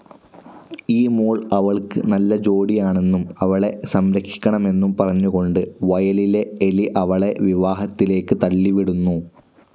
ഈ മോൾ അവൾക്ക് നല്ല ജോഡിയാണെന്നും അവളെ സംരക്ഷിക്കണമെന്നും പറഞ്ഞുകൊണ്ട് വയലിലെ എലി അവളെ വിവാഹത്തിലേക്ക് തള്ളിവിടുന്നു.